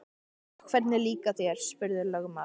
Og hvernig líkar þér, spurði lögmaður.